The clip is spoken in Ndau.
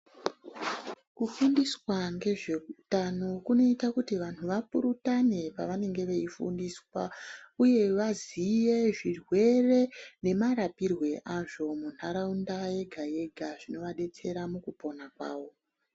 Kufundiswa ngezveutano kunoita kuti vantu vapurutane pavanenge veifundiswa, uye vaziye zvirwere nemarapirwe azvo mundaraunda yega yega zvinovabetsera mukupona kwavo.